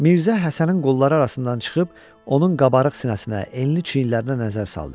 Mirzə Həsənin qolları arasından çıxıb, onun qabarıq sinəsinə, enli çiynlərinə nəzər saldı.